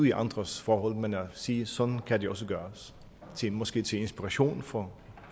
i andres forhold men at sige at sådan kan det også gøres måske til inspiration for